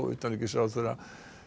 utanríkisráðherra